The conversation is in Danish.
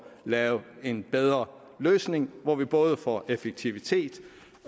lave en bedre løsning hvor vi både får effektivitet